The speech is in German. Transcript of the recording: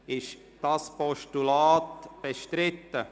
Ist das Postulat bestritten?